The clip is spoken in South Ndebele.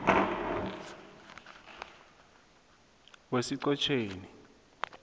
wesichotjeni